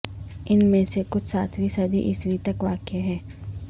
ان میں سے کچھ ساتویں صدی عیسوی تک واقع ہیں